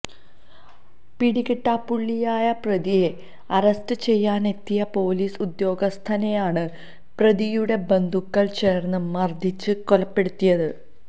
പിടികിട്ടാപ്പുള്ളിയായ പ്രതിയെ അറസ്റ്റ് ചെയ്യാനെത്തിയ പൊലീസ് ഉദ്യോഗസ്ഥനെയാണ് പ്രതിയുടെ ബന്ധുക്കള് ചേര്ന്ന് മര്ദ്ദിച്ച് കൊലപ്പെടുത്തിയത്